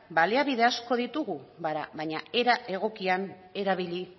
baliabide asko ditugu baina era egokian erabili